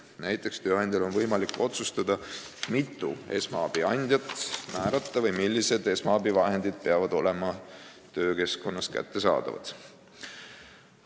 Näiteks on tööandjal võimalik otsustada, mitu esmaabiandjat määrata või millised esmaabivahendid peavad olema töökeskkonnas kättesaadavad.